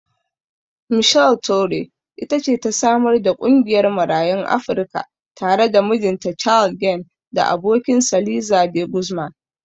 Michele Torrey it ce ta samar da ƙungiyar Marayun Afrika tare da mijinta Carl Gann da abokinsa Liza De Guzman.